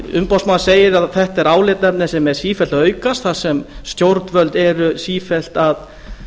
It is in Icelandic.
umboðsmaður segir að þetta sé álitaefni sem er sífellt að aukast þar sem stjórnvöld eru sífellt að